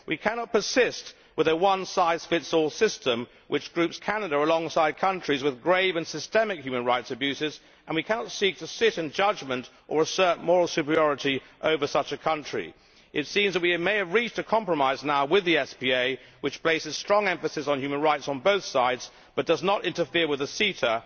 We cannot persist with a one size fits all system, which groups Canada alongside countries with grave and systemic human rights abuses, and we cannot seek to sit in judgment or assert moral superiority over such a country. It seems that we may have reached a compromise now with the SPA, which places strong emphasis on human rights on both sides, but does not interfere with the CETA.